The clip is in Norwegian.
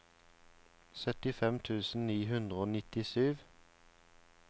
syttifem tusen ni hundre og nittisju